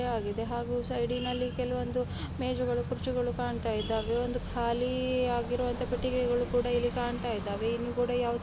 ಹಾಗೂ ಸೈಡಿ ನಲ್ಲಿ ಕೆಲವೊಂದು ಮೇಜುಗಳು ಕುರ್ಚಿಗಳು ಕಾಣ್ತಾ ಇದ್ದಾವೆ ಒಂದು ಖಾಲಿ ಆಗಿರುವಂತಹ ಪೆಟ್ಟಿಗೆಗಳು ಕುಡ ಇಲ್ಲಿ ಕಾಣ್ತಾ ಇದ್ದಾವೆ ಇಲ್ಲಿ ಕೂಡ ಯಾವುದೇ --